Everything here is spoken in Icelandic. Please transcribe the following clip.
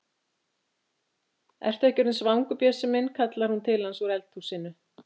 Ertu ekki orðinn svangur, Bjössi minn? kallar hún til hans úr eldhúsinu.